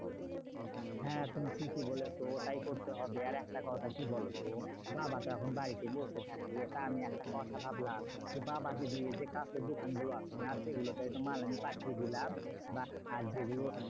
হ্যাঁ তুমি ঠিকই বলেছো ওটাই করতে হবে আরেকটা কথা কি বলতো? বাবাতো এখন বাড়িতে বসে থাকে তা আমি একটা কথা ভাবলাম, তো বাবাকে দিয়ে যে কাছের দোকানগুলো আছে না? সেগুলোতে আরকি মাল আমি পাঠিয়ে দিলাম। বা আহ যেগুলো